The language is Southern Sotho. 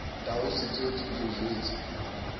tau setswetse ke o jwetse